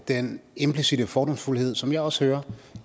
den implicitte fordomsfuldhed som jeg også hører